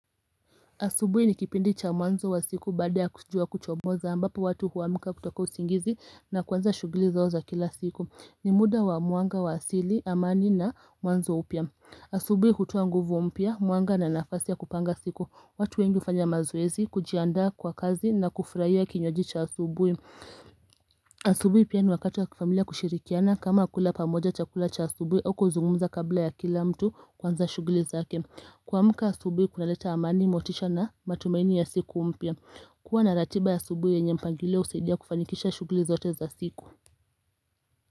Asubuhi ni kipindi cha mwanzo wa siku baada ya kujua kuchomoza ambapo watu huamka kutoka usingizi na kwanza shughuli zao za kila siku ni muda wa mwanga wa asili amani na mwanzo upya. Asubuhi hutoa nguvu mpya, mwanga na nafasi ya kupanga siku, watu wengi hufanya mazoezi, kujianda kwa kazi na kufurahia kinywaji cha asubui. Asubuhi pia ni wakati wa kifamilia kushirikiana kama kula pamoja chakula cha asubuhi huku zungumza kabla ya kila mtu kuanza shughuli zake. Kuamka asubuhi kuna leta amani motisha na matumaini ya siku umpya kuwa na ratiba ya asubuhi yenye mpangilio husaidia kufanikisha shughuli zote za siku.